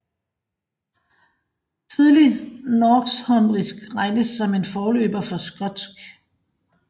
Tidlig northumbrisk regnes som en forløber for skotsk